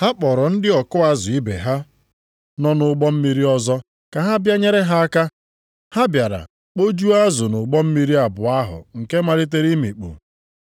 Ha kpọrọ ndị ọkụ azụ ibe ha nọ nʼụgbọ mmiri ọzọ ka ha bịa nyere ha aka. Ha bịara kpojuo azụ nʼụgbọ mmiri abụọ ahụ nke malitere imikpu.